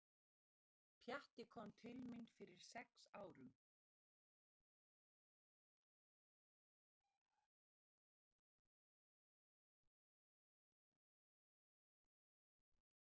Pjatti kom til mín fyrir sex árum.